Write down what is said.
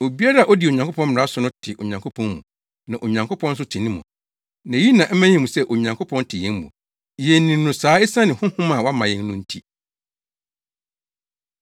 Obiara a odi Onyankopɔn mmara so no te Onyankopɔn mu na Onyankopɔn nso te ne mu. Na eyi na ɛma yehu sɛ Onyankopɔn te yɛn mu. Yenim no saa esiane Honhom a wama yɛn no nti.